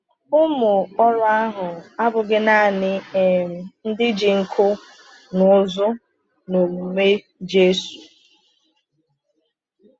Ụmụ ọrụ ahụ abụghị naanị um ndị ji nku n’ụzụ n’ọmụmụ Jésù.